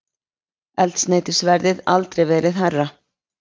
Eldsneytisverðið aldrei verið hærra